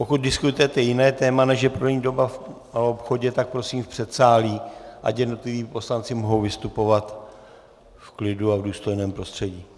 Pokud diskutujete jiné téma, než je prodejní doba v maloobchodě, tak prosím v předsálí, ať jednotliví poslanci mohou vystupovat v klidu a v důstojném prostředí.